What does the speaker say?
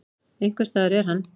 Einhvers staðar er hann.